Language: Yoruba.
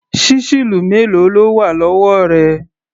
Ṣísẹ́ẹ̀lì mélòó ló wà lọ́wọ́ rẹ?